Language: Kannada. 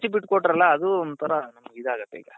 ಬಿಟ್ಟು ಕೊಟ್ರಲ್ಲ ಅದು ಒಂಥರಾ ನಮ್ಗೆ ಇದಾಗುತ್ತೆ ಈಗ